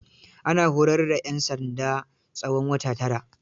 Ana horar da 'yan sanda tsawon wata tara.